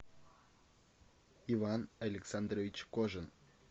иван александрович кожин